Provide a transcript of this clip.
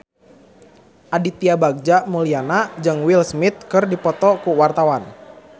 Aditya Bagja Mulyana jeung Will Smith keur dipoto ku wartawan